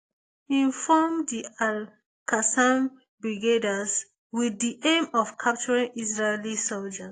im form di alqassam brigades wit di aim of capturing israeli soldiers